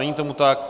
Není tomu tak.